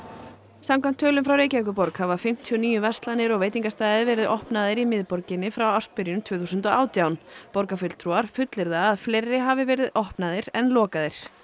samkvæmt tölum frá Reykjavíkurborg hafa fimmtíu og níu verslanir og veitingastaðir verið opnaðir í miðborginni frá ársbyrjun tvö þúsund og átján borgarfulltrúar fullyrða að fleiri hafi verið opnaðir en lokaðir